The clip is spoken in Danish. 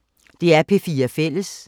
DR P4 Fælles